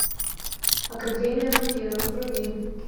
академия вампиров вруби